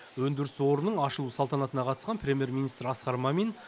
өндіріс орнының ашылу салтанатына қатысқан премьер министр асқар мамин